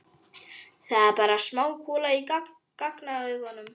Það er bara smá kúla hjá gagnauganu.